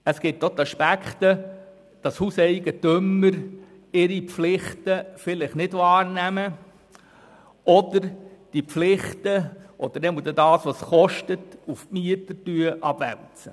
Es gibt auch Hauseigentümer, die ihre Pflichten vielleicht nicht wahrnehmen oder diese Pflichten, zumindest die damit verbundenen Kosten, auf die Mieter abwälzen.